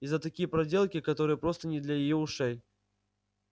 и за такие проделки которые просто не для её ушей